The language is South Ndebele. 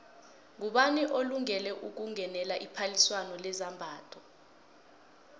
ngubani olungele ukungenela iphaliswano lezambatho